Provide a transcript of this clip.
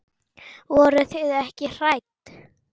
Voruð þið ekkert hrædd?